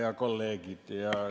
Head kolleegid!